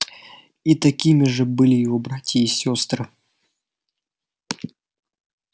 и такими же были его братья и сёстры